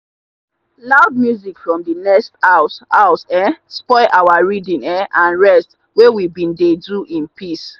loud music from the next house house um spoil our reading um and rest wey we bin dey do in peace.